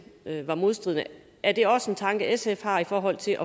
var modstridende er det også en tanke sf har i forhold til